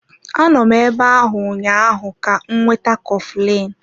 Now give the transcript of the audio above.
Anọ m ebe ahụ ụnyaahụ ka m weta coflin.